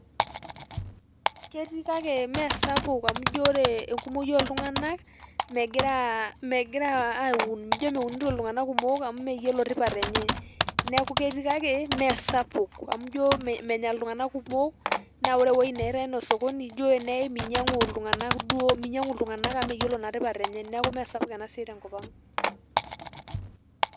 Ketii kake mesapuk amu ijo ore enkumoyu oltung'anak, megira megira ijo meunito iltung'anak kumok, amu meyiolo tipat enye. Neeku ketii kake, mesapuk, amu ijo menya iltung'anak kumok, na ore ewoi neitai enaa osokoni, ijo eneyai minyang'u iltung'anak duo, minyang'u iltung'anak amu meyiolo naa tipat enye. Neeku mesapuk enasiai tenkop ang'.